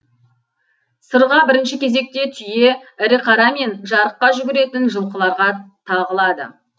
сырға бірінші кезекте түйе ірі қара мен жарыққа жүгіретін жылқыларға тағылады